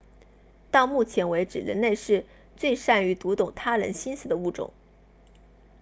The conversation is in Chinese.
到目前为止人类是最善于读懂他人心思的物种